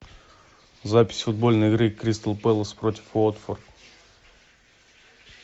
запись футбольной игры кристал пэлас против уотфорд